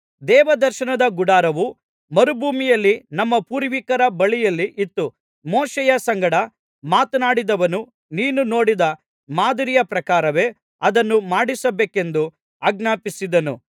ದೇವದರ್ಶನ ಗುಡಾರವು ಮರುಭೂಮಿಯಲ್ಲಿ ನಮ್ಮ ಪೂರ್ವಿಕರ ಬಳಿಯಲ್ಲಿ ಇತ್ತು ಮೋಶೆಯ ಸಂಗಡ ಮಾತನಾಡಿದವನು ನೀನು ನೋಡಿದ ಮಾದರಿಯ ಪ್ರಕಾರವೇ ಅದನ್ನು ಮಾಡಿಸಬೇಕೆಂದು ಆಜ್ಞಾಪಿಸಿದ್ದನು